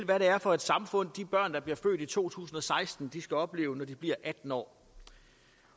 hvad det er for et samfund de børn der bliver født i to tusind og seksten skal opleve når de bliver atten år